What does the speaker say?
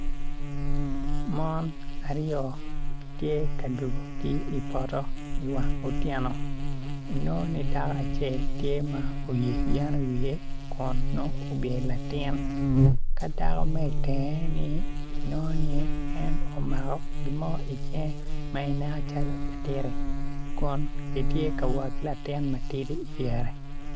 Mon aryo gitye ka dwogo ki i poto i wang otyeno inongo ni dako acel tye ma oyeyo yen i wiye kun nongo obyelo latin ka dako ma i tenge ni en omako gin mo i cinge ma ineno calo adyta kun gitye ka wot ki latin ma tidi i dyere.